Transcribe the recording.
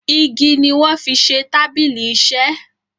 ìgi ní wón fí ṣe tábìlì iṣe